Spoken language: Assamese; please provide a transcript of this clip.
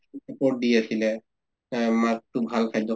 support দি আছিলে এহ মাক টো ভাল খাদ্য়